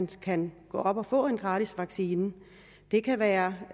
kan gå op og få en gratis vaccination det kan være